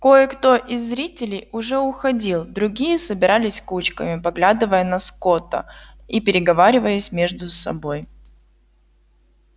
кое-кто из зрителей уже уходил другие собирались кучками поглядывая на скотта и переговариваясь между собой